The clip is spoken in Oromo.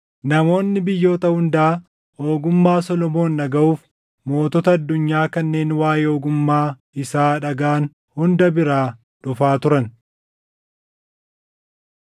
Namoonni biyyoota hundaa ogummaa Solomoon dhagaʼuuf mootota addunyaa kanneen waaʼee ogummaa isaa dhagaʼan hunda biraa dhufaa turan.